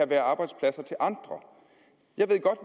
være arbejdspladser til andre jeg ved godt